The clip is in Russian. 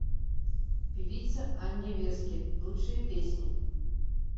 певица анне вески лучшие песни